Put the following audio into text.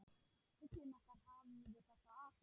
Fuglinn okkar hafði þetta allt.